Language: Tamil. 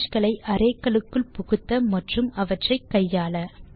இமேஜ் களை அரே கலுக்குள் புகுத்த மற்றும் அவற்றை கையாள